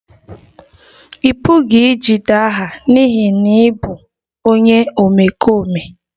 Ị pụghị ijide aha n'ihi na ị bụ onye omekome